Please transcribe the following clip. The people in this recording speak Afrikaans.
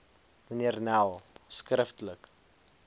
mnr nel skriftelik